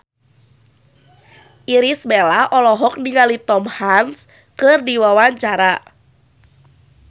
Irish Bella olohok ningali Tom Hanks keur diwawancara